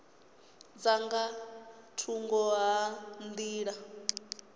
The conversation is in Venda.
dza nga thungo ha nḓila